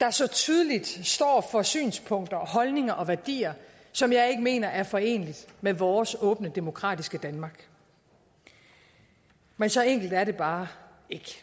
der så tydeligt står for synspunkter og holdninger og værdier som jeg ikke mener er forenelige med vores åbne demokratiske danmark men så enkelt er det bare ikke